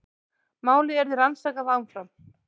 Málið yrði rannsakað áfram